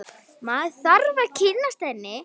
Maður þarf að kynnast henni!